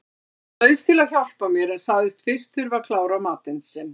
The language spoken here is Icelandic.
Hann bauðst til að hjálpa mér en sagðist fyrst þurfa að klára matinn sinn.